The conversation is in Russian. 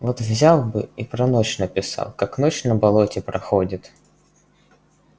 вот взял бы и про ночь написал как ночь на болоте проходит